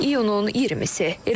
İyunun 20-si.